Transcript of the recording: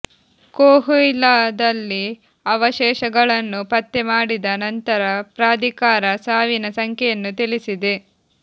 ಕೋಹುಯಿಲಾದಲ್ಲಿ ಅವಶೇಷಗಳನ್ನು ಪತ್ತೆ ಮಾಡಿದ ನಂತರ ಪ್ರಾಧಿಕಾರ ಸಾವಿನ ಸಂಖ್ಯೆಯನ್ನು ತಿಳಿಸಿದೆ